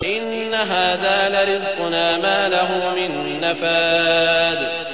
إِنَّ هَٰذَا لَرِزْقُنَا مَا لَهُ مِن نَّفَادٍ